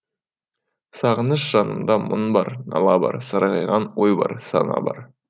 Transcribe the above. сағыныш жанымда мұң бар нала бар сарғайған ой бар сана бар